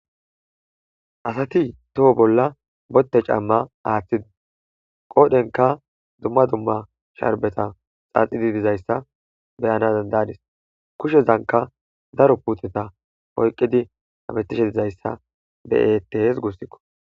Asati toho bolla botte camma aaththidi qoodhenka dumma dumma sharbeta xaaxidi dizayssa beyana dandadis kushezanka daro puuteta oyqqidi hametishe dizayssa be'ettees gussikko.